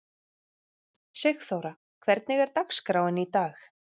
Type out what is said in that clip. Sigþóra, hvernig er dagskráin í dag?